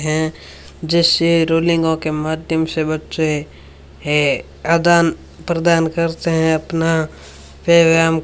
हैं जैसे रोलिंगों के माध्यम से बच्चे है आदान प्रदान करते हैं अपना फिर हम --